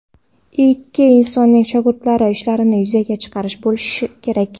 Ikki insonning shogirdlari ishlarini yuzaga chiqarish bo‘lishi kerak”.